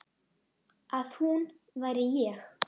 Að hún væri ég.